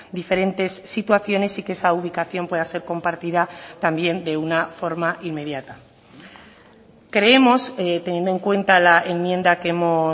diferentes situaciones y que esa ubicación pueda ser compartida también de una forma inmediata creemos teniendo en cuenta la enmienda que hemos